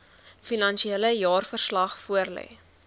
finansiële jaarverslag voorlê